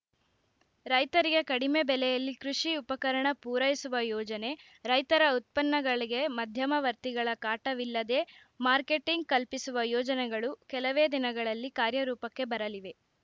ರೈತರಿಗೆ ಕಡಿಮೆ ಬೆಲೆಯಲ್ಲಿ ಕೃಷಿ ಉಪಕರಣ ಪೂರೈಸುವ ಯೋಜನೆ ರೈತರ ಉತ್ಪನ್ನಗಳಿಗೆ ಮಧ್ಯಮವರ್ತಿಗಳ ಕಾಟವಿಲ್ಲದೇ ಮಾರ್ಕೆಟಿಂಗ್‌ ಕಲ್ಪಿಸುವ ಯೋಜನೆಗಳು ಕೆಲವೇ ದಿನಗಳಲ್ಲಿ ಕಾರ್ಯರೂಪಕ್ಕೆ ಬರಲಿವೆ